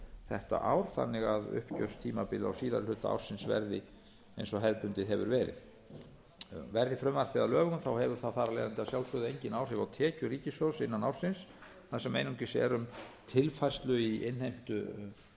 þetta ár þannig að uppgjörstímabil á síðari hluta ársins verði eins og hefðbundið hefur verið verði frumvarp þetta að lögum hefur það engin áhrif á tekjur ríkissjóðs á árinu tvö þúsund og tíu þar sem einungis um að ræða tilfærslu í innheimtu